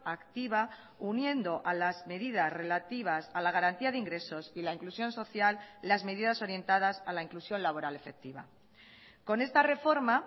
activa uniendo a las medidas relativas a la garantía de ingresos y la inclusión social las medidas orientadas a la inclusión laboral efectiva con esta reforma